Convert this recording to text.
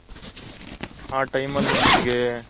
ಆ time ಅಲ್ಲಿ ನಮ್ಗೆ